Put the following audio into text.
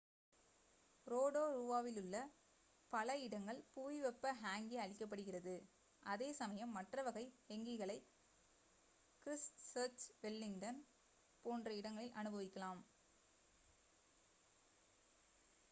ரோடோரூவாவிலுள்ள பல இடங்கள் புவி வெப்ப ஹேங்கி அளிக்கப்படுகிறது அதே சமயம் மற்ற வகை ஹெங்கிகளை கிரிஸ்ட்சர்ச் வெலிங்டன் போன்ற இடங்களில் அனுபவிக்கலாம்